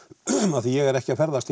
af því ég er ekki að ferðast